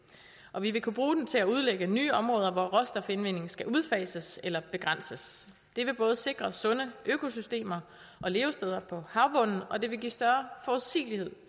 og vi vil kunne bruge den til at udlægge nye områder hvor råstofindvinding skal udfases eller begrænses det vil både sikre sunde økosystemer og levesteder på havbunden og det vil give større forudsigelighed